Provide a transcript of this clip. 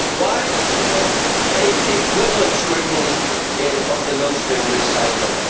Why was there no equivalent scrutiny of the Millstream recycling?